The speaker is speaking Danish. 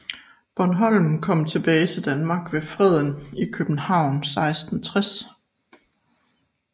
Bornholm kom tilbage til Danmark ved Freden i København 1660